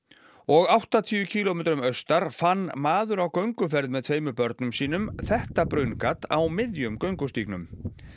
og áttatíu kílómetrum austar fann maður á gönguferð með tveimur börnum sínum þetta brunngat á miðjum göngustígnum